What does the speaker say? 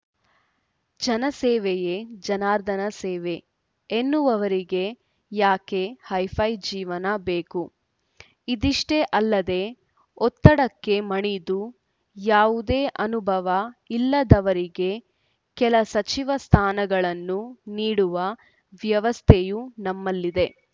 ಜನಸೇವೆಯೇ ಜನಾರ್ದನ ಸೇವೆ ಎನ್ನುವವರಿಗೆ ಯಾಕೆ ಹೈಫೈ ಜೀವನ ಬೇಕು ಇದಿಷ್ಟೇ ಅಲ್ಲದೆ ಒತ್ತಡಕ್ಕೆ ಮಣಿದು ಯಾವುದೇ ಅನುಭವ ಇಲ್ಲದವರಿಗೆ ಕೆಲ ಸಚಿವ ಸ್ಥಾನಗಳನ್ನು ನೀಡುವ ವ್ಯವಸ್ಥೆಯೂ ನಮ್ಮಲ್ಲಿದೆ